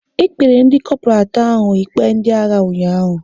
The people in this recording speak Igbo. E kpere ndị Kopral atọ ahụ ikpe ndị agha ụnyaahụ